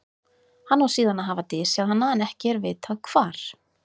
hann á síðan að hafa dysjað hana en ekki er vitað hvar